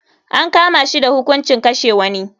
An kama shi da hukuncin kashe wani.